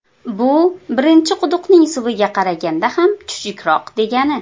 Bu birinchi quduqning suviga qaraganda ham chuchukroq degani.